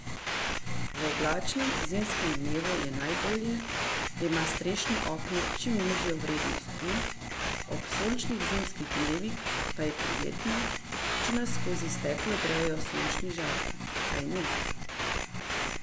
V oblačnem zimskem dnevu je najbolje, da ima strešno okno čim nižjo vrednost U, ob sončnih zimskih dnevih pa je prijetno, če nas skozi steklo grejejo sončni žarki, kajne?